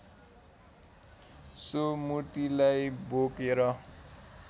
so मूर्तिलाई बोकेर